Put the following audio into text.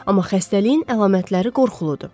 Amma xəstəliyin əlamətləri qorxuludur.